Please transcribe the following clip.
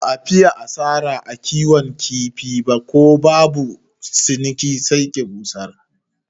Ba fiye asara a kiwon kifi ba, ko babu ciniki sai ki busar.